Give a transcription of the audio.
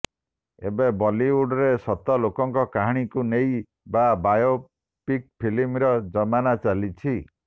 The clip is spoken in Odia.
ଏବେ ବଲିଉଡରେ ସତ ଲୋକଙ୍କ କାହାଣୀକୁ ନେଇ ବା ବାୟୋପିକ୍ ଫିଲ୍ମର ଜମାନା ଚାଲିଛି